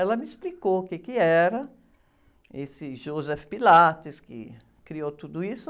Ela me explicou o quê que era, esse Joseph Pilates, que criou tudo isso.